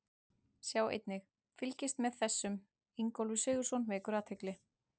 Sjá einnig: Fylgist með þessum: Ingólfur Sigurðsson vekur athygli